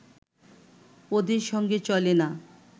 ওদের সঙ্গে চলে না